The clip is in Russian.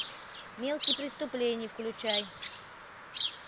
мелкие преступления включай